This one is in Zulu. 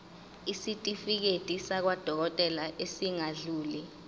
isitifiketi sakwadokodela esingadluli